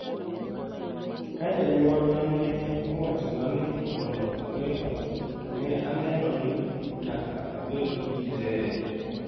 Ka jonyuolna ne owachona ni mondo okenda, ne aneno ni nyaka abed DJ’.